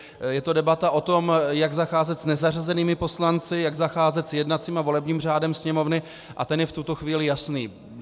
Je to debata o tom, jak zacházet s nezařazenými poslanci, jak zacházet s jednacím a volebním řádem Sněmovny, a ten je v tuto chvíli jasný.